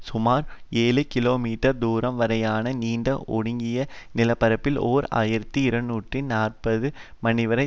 சுமார் ஏழு கிலோமீட்டர் தூரம் வரையான நீண்ட ஒடுங்கிய நிலப்பரப்பில் ஓர் ஆயிரத்தி இருநூற்றி நாற்பது மணிவரை